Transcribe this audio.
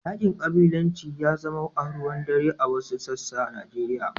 Yaƙin ƙabilanci ya zama aruwan dare a wasu sassan a Nijeriya.